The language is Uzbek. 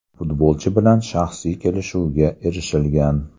Futbolchi bilan shaxsiy kelishuvga erishilgan.